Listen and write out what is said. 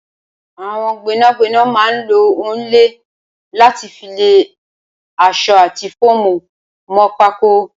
Awọn gbẹnágbẹná mà n ló òònlẹ làtí fi lẹ aṣọ àtí fómú mọ pákó